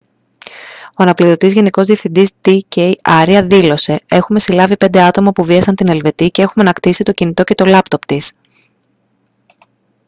ο αναπληρωτής γενικός επιθεωρητής ντ. κ. άρια δήλωσε: «έχουμε συλλάβει πέντε άτομα που βίασαν την ελβετή και έχουμε ανακτήσει το κινητό και το λάπτοπ της